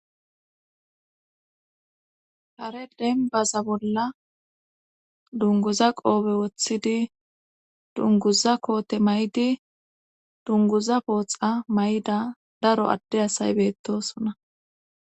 Kare denbaza bolla dunguza qoobe woththidi dunguza koote may7di dunguza pooxa mayida daro adde asay beettosona.